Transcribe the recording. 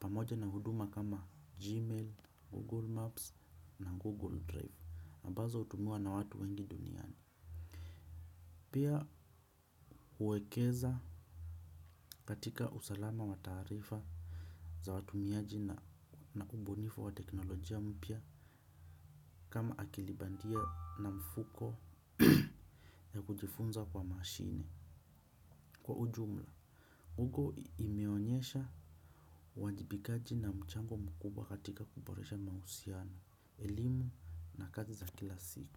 Pamoja na huduma kama Gmail, Google Maps na Google Drive na ambazo hutumiwa na watu wengi duniani. Pia uwekeza katika usalama wa taarifa za watumiaji na ubunifu wa teknolojia mpya kama akili bandia na mfuko ya kujifunza kwa mashine. Kwa ujumla, ugo imeonyesha uwajibikaji na mchango mkubwa katika kuboresha mahusiano, elimu na kazi za kila siku.